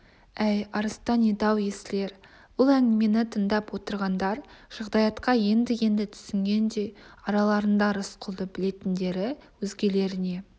әй арыстан еді-ау есіл ер бұл әңгімені тыңдап отырғандар жағдаятқа енді-енді түсінгендей араларында рысқұлды білетіндері өзгелеріне